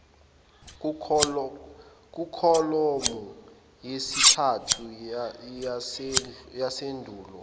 kukholomu yesithathu yesheduli